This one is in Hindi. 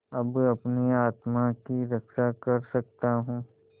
अब अपनी आत्मा की रक्षा कर सकता हूँ